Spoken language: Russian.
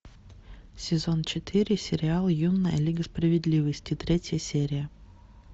сезон четыре сериал юная лига справедливости третья серия